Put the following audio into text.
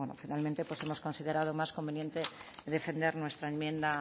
finalmente hemos considerado más conveniente defender nuestra enmienda